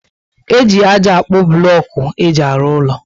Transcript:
E ji ájá akpu bulocku éjị arụ úlọ